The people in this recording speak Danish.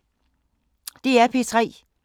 DR P3